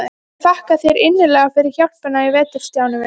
Ég þakka þér innilega fyrir hjálpina í vetur, Stjáni minn.